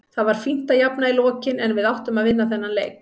Það var fínt að jafna í lokin en við áttum að vinna þennan leik.